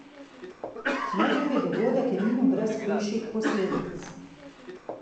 Neljubi dogodek je minil brez hujših posledic.